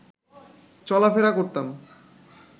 চলাফেরা করতাম